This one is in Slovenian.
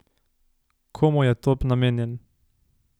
Komu je top namenjen?